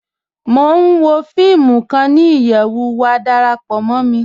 Mọ̀ n wọ fíìmù kan ni iyẹwú, wà dárápọ̀ mọ̀ mí.